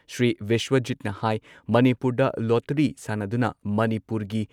ꯁ꯭ꯔꯤ ꯕꯤꯁ꯭ꯋꯖꯤꯠꯅ ꯍꯥꯏ ꯃꯅꯤꯄꯨꯔꯗ ꯂꯣꯇꯔꯤ ꯁꯥꯟꯅꯗꯨꯅ, ꯃꯅꯤꯄꯨꯔꯒꯤ